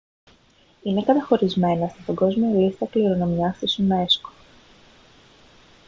είναι καταχωρισμένα στην παγκόσμια λίστα κληρονομιάς της unesco